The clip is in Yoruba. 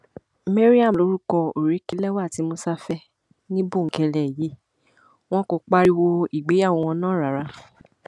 mariam lorúkọ òrékelẹwà tí musa fẹ ní bòńkẹlẹ yìí wọn kò pariwo ìgbéyàwó náà rárá